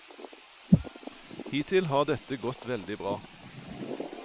Hittil har dette gått veldig bra.